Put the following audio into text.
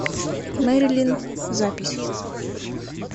мерилин запись